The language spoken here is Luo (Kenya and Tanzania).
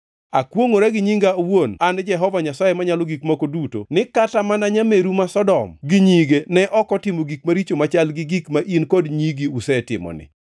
Akwongʼora gi nyinga awuon an Jehova Nyasaye Manyalo Gik Moko Duto ni kata mana nyameru ma Sodom gi nyige ne ok otimo gik maricho machal gi gik ma in kod nyigi usetimoni.